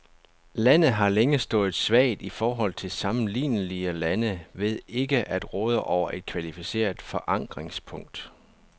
Landet har længe stået svagt i forhold til sammenlignelige lande ved ikke at råde over et kvalificeret forankringspunkt.